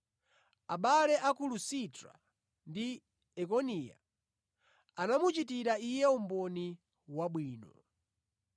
Abale a ku Lusitra ndi Ikoniya anamuchitira iye umboni wabwino.